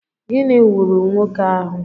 Gịnị ghuru nwoke ahụ?